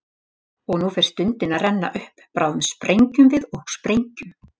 Og nú fer stundin að renna upp, bráðum sprengjum við og sprengjum.